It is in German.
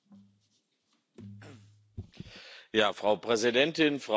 Frau Präsidentin, Frau Kommissarin, liebe Kolleginnen und Kollegen!